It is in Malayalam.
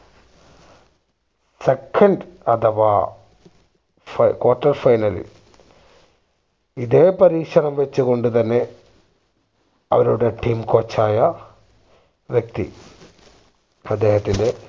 second അഥവാ quarter final ഇതേ പരീക്ഷണം വച്ച് കൊണ്ട് തന്നെ അവരുടെ team coach ആയ വ്യക്തി അദ്ദേഹത്തിന്റെ